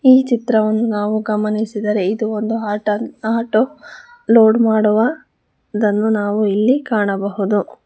ಈ ಚಿತ್ರವನ್ನು ನಾವು ಗಮನಿಸಿದರೆ ಇದು ಒಂದು ಆಟ ಆ ಆಟೋ ಲೋಡ್ ಮಾಡುವ ದನ್ನು ನಾವು ಇಲ್ಲಿ ಕಾಣಬಹುದು.